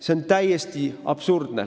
See on täiesti absurdne!